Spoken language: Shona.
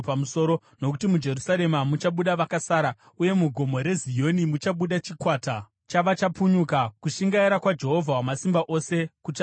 Nokuti muJerusarema muchabuda vakasara, uye muGomo reZioni muchabuda chikwata chavachapunyuka. Kushingaira kwaJehovha Wamasimba Ose kuchazviita.